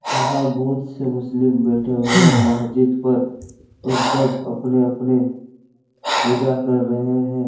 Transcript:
यहाँ बहुत से मुस्लिम बैठे हुए हैं महजिद पर और सब अपने-अपने पूजा कर रहे हैं।